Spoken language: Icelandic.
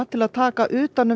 til að taka utan um